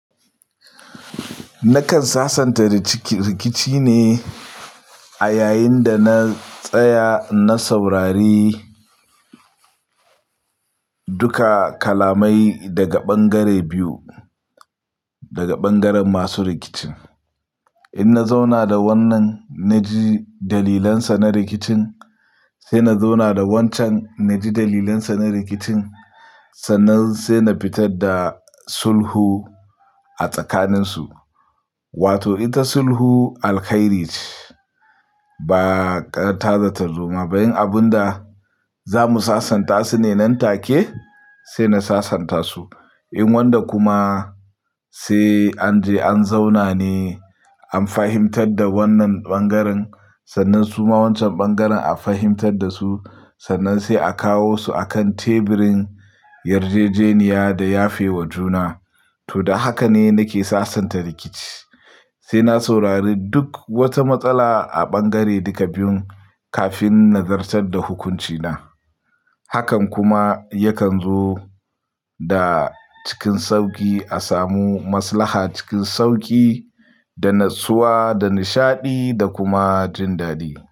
Nakan sasanta rikici ne a yayin da na tsaya na saurari duka kalamai daga ɓangare biyu, daga ɓangaren masu rikicin. In na zauna da wannan na ji dalilansa na rikicin, sai na zauna da wancan na ji dalilansa na rikicin, sannan sai na fitar da sulhu a tsakaninsu. Wato ita sulhu alkhairi ce ba ƙar ta zata zuma ba. Abun da za mu sasanta su ne nan take sai na sasanta su. In wanda kuma sai an je an zauna ne an fahimtar da wannan ɓangaren sannan suma wancan ɓangaren a fahimtar da su sannan sai a kawo su akan teburin yarjejeniya da yafe wa juna. To da haka ne nake sasanta rikici sai na saurari duk wata matsala a ɓangare duka biyun kafin na zartar da hukuncina. Hakan kuma yakan zo da cikin sauƙi a samu maslaha cikin sauƙi da natsuwa da nishaɗi da kuma jin daɗi.